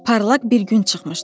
Parlaq bir gün çıxmışdı.